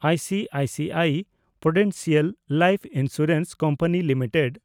I C I C I prudential life insurance company limited